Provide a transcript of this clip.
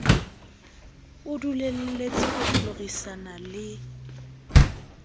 o dulelletse ho hlorisana le